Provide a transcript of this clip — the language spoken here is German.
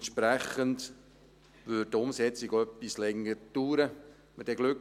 Entsprechend würde eine Umsetzung auch länger dauern.